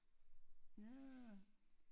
Nårh